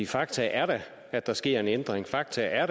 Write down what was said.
fakta er da at der sker en ændring fakta er